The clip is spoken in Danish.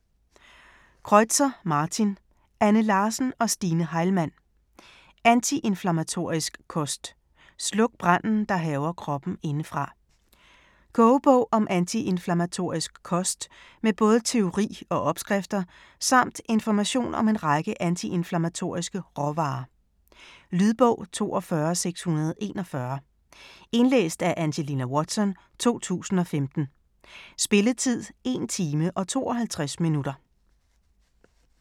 Kreutzer, Martin, Anne Larsen og Stine Heilmann: Antiinflammatorisk kost: sluk branden, der hærger kroppen indefra Kogebog om antiinflammatorisk kost med både teori og opskrifter; samt information om en række antiinflammatoriske råvarer. Lydbog 42641 Indlæst af Angelina Watson, 2015. Spilletid: 1 timer, 52 minutter.